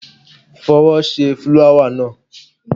Fọwọ́ ṣe fúláwà náà!